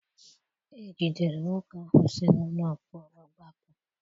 Ejidere nwoke ahụ si n'ụlọ mkpọrọ gbapụ.